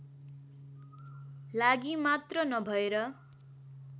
लागि मात्र नभएर